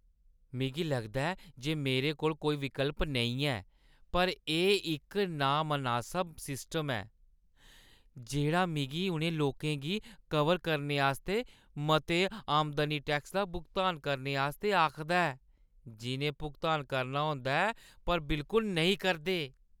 मिगी लगदा ऐ जे मेरे कोल कोई विकल्प नेईं ऐ, पर एह् इक नामनासब सिस्टम ऐ जेह्ड़ा मिगी उ'नें लोकें गी कवर करने आस्तै मते आमदनी टैक्स दा भुगतान करने आस्तै आखदा ऐ जिʼनें भुगतान करना होंदा ऐ पर बिलकुल नेईं करदे।